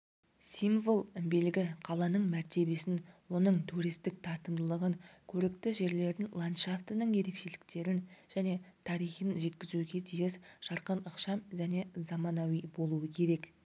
символ белгі қаланың мәртебесін оның туристік тартымдылығын көрікті жерлерін ландшафтының ерекшеліктерін және тарихын жеткізуге тиіс жарқын ықшам және заманауи болуы керек